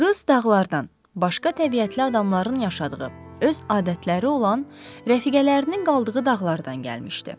Qız dağlardan, başqa təbiətli adamların yaşadığı, öz adətləri olan rəfiqələrinin qaldığı dağlardan gəlmişdi.